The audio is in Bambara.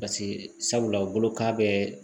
Paseke sabula u bolokan bɛ